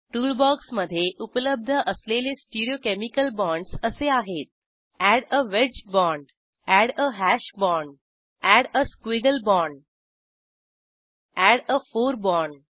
toolbox मधे उपलब्ध असलेले स्टिरीओकेमिकल बाँडस असे आहेत add a wedge bond add a hash bond add a squiggle bond आणि एड आ फोर बॉण्ड